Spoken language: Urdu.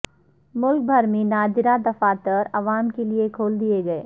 ملک بھر میں نادرا دفاتر عوام کیلئے کھول دیئے گئے